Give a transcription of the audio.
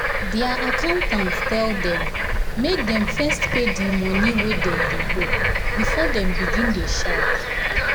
their accountant tell them make dem first pay the the money wey dem dey owe before dem begin dey shout